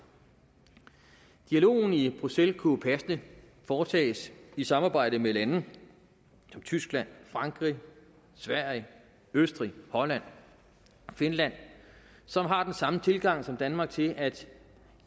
dialogen i bruxelles kunne passende foretages i samarbejde med lande som tyskland frankrig sverige østrig holland og finland som har den samme tilgang som danmark til at